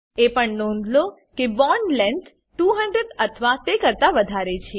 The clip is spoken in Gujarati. એ પણ નોંધ લો કે બોન્ડ લેન્થ 200 અથવા તે કરતા વધારે છે